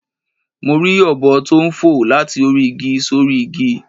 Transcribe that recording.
Mo rí ọ̀bọ tó n fò láti orí igi sórí igi